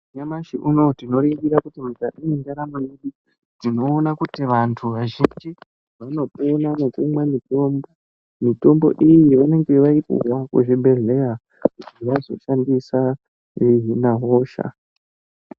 Nyamashi unou tinoringira kuti mukati mwendaramo yedu tinoona kuti vanthu vazhinji vanopona nekumwa mitombo mitombo iyi vanenge vaipuwa kuzvibhedhleya kuti vazoshandisa veihina hosha.